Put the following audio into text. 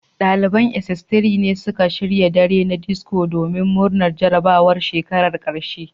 Daliban sss3 ne suka shirya dare na disco domin murnar jarabawar shekarar karshe